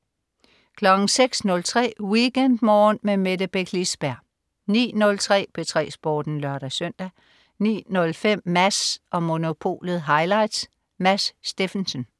06.03 WeekendMorgen med Mette Beck Lisberg 09.03 P3 Sporten (lør-søn) 09.05 Mads & Monopolet highlights. Mads Steffensen